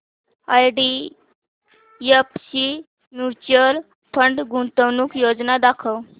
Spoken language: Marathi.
आयडीएफसी म्यूचुअल फंड गुंतवणूक योजना दाखव